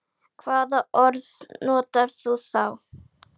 Hvaða orð notar þú þá?